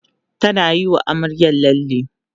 tana Yi wa amaryar lalle